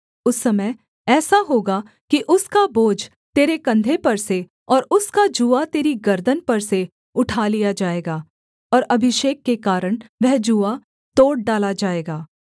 उस समय ऐसा होगा कि उसका बोझ तेरे कंधे पर से और उसका जूआ तेरी गर्दन पर से उठा लिया जाएगा और अभिषेक के कारण वह जूआ तोड़ डाला जाएगा